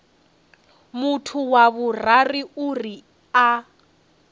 muthu wa vhuraru uri a